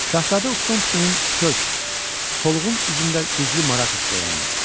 Şahzadə Uktomskinin kök, solğun üzündə güclü maraq hissi oyandı.